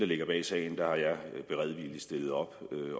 ligger bag sagen har jeg beredvilligt stillet op